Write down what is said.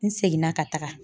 N seginna ka taga.